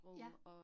Ja